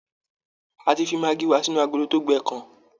A ti fi maggi wa sínú agolo tó gbẹ kan